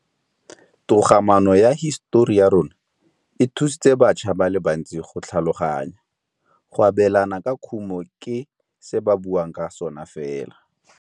Togamaano ya hisetori ya rona, e thusitse batšha ba le bantsi go tlhaloganya. Go abêlana ka khumô ke se ba buang ka sona fela.